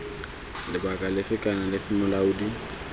lebaka lefe kana lefe molaodi